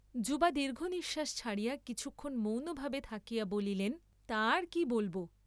যুবা দীর্ঘনিশ্বাস ছাড়িয়া কিছুক্ষণ মৌনভাবে থাকিয়া বলিলেন তা আর কি বলব?